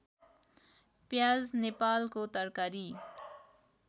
प्याज नेपालको तरकारी